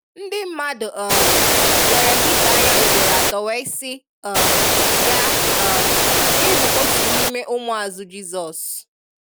Ndi mmadụ um lere pita anya ugboro atọ wee sị um ya um ị bu otu n'ime ụmụazụ Jizọs